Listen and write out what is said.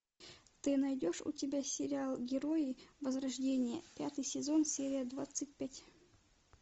ты найдешь у тебя сериал герои возрождение пятый сезон серия двадцать пять